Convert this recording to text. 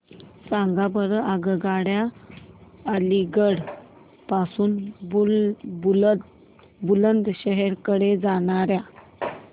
सांगा बरं आगगाड्या अलिगढ पासून बुलंदशहर कडे जाणाऱ्या